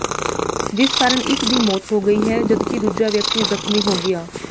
ਜਿਸ ਕਾਰਨ ਇਕ ਦੀ ਮੌਤ ਹੋ ਗਈ ਹੈ ਜਦਕਿ ਦੂਜਾ ਵਿਅਕਤੀ ਜ਼ਖਮੀ ਹੋ ਗਿਆ